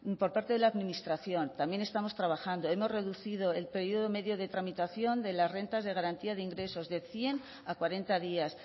por parte de la administración también estamos trabajando hemos reducido el periodo medio de tramitación de las rentas de garantía de ingresos de cien a cuarenta días